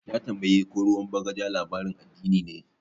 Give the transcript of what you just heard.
Ya tambaye ko ruwan bagaja labarin addini ne.